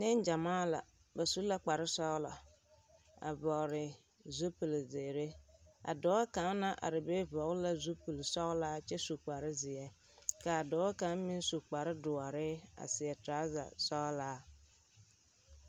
Neŋgyamaa la, bas u la kpare sͻgelͻ a vͻgele zupili zeere. A dͻͻ kaŋ naŋ are be vͻgele la zupili sͻgelaa kyԑ kyԑ su kpare zeԑ, ka a dͻͻ kaŋa meŋ su kpare dõͻre a seԑ torͻza sͻgelaa.